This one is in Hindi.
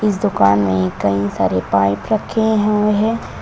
इस दुकान में कई सारे पाइप रखे हुए है।